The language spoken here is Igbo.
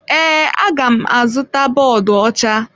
Ee, aga m azụta bọọdụ ọcha.